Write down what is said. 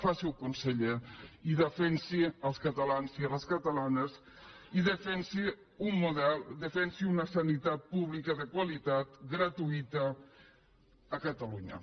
faci ho conseller i defensi els catalans i les catalanes i defensi un model defensi una sanitat pública de qualitat gratuïta a catalunya